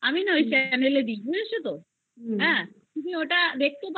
বুঝেছো তো হ্যা তুমি ওটা দেখতে পারো মাঝে সাজে তোমার